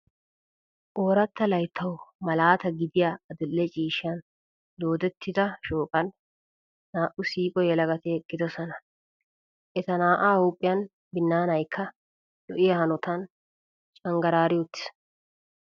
Ooratta layttawu malaata gidiya adil"e ciishshan doodetta shooqan naa"u siiqo yelagati eqqidosona. Eta naa"aa huuphiya binnaanaykka lo'iya hanotan canggaraari uttiis.